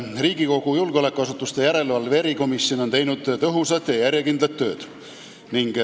Riigikogu julgeolekuasutuste järelevalve erikomisjon on teinud tõhusat ja järjekindlat tööd.